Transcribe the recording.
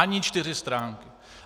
Ani čtyři stránky!